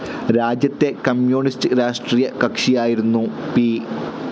രാജ്യത്തെ കമ്മ്യൂണിസ്റ്റ്‌ രാഷ്ട്രീയകക്ഷിയായിരുന്ന പി.